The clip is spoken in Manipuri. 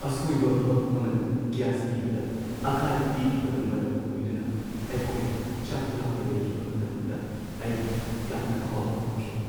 ꯑꯁꯣꯏꯕ ꯚꯥꯜꯚ ꯑꯃꯅ ꯒ꯭ꯌꯥꯁ ꯄꯤꯕꯗ ꯑꯀꯥꯏꯕ ꯄꯤꯈꯤꯕꯅ ꯃꯔꯝ ꯑꯣꯏꯗꯨꯅ ꯑꯩꯈꯣꯏꯅ ꯆꯥꯛ ꯂꯥꯝꯅ ꯂꯩꯈꯤꯕ ꯃꯇꯝꯗ ꯑꯩ ꯌꯥꯝꯅ ꯑꯋꯥꯕ ꯐꯥꯎꯈꯤ꯫